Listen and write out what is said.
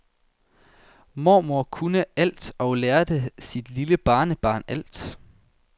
Mormor kunne alt og lærte sit lille barnebarn alt.